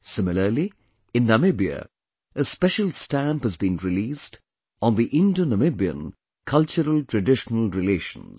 Similarly, in Namibia, a special stamp has been released on the IndoNamibian culturaltraditional relations